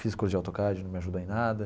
Fiz curso de AutoCAD, não me ajudou em nada.